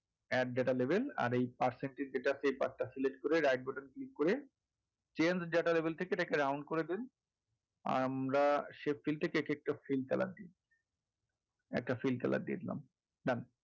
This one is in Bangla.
add data নেবেন আর এই percentage যেটা paper টা select করে right button click করে change data label থেকে এটাকে round করে দিন আমরা shape fill থেকে এক একটা fill colour দেবো।